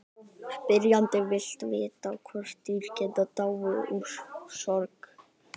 Spyrjandi vill vita hvort dýr geti dáið úr sorg.